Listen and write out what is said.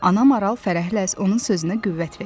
Ana maral fərəhlə onun sözünə qüvvət verdi.